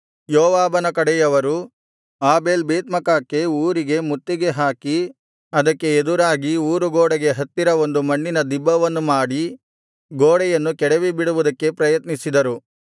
ಯೋವಾಬನ ಕಡೆಯವರು ಆಬೇಲ್ ಬೇತ್ಮಾಕಾಕ್ಕೆ ಊರಿಗೆ ಮುತ್ತಿಗೆ ಹಾಕಿ ಅದಕ್ಕೆ ಎದುರಾಗಿ ಊರು ಗೋಡೆಗೆ ಹತ್ತಿರ ಒಂದು ಮಣ್ಣಿನ ದಿಬ್ಬವನ್ನು ಮಾಡಿ ಗೋಡೆಯನ್ನು ಕೆಡವಿಬಿಡುವುದಕ್ಕೆ ಪ್ರಯತ್ನಿಸಿದರು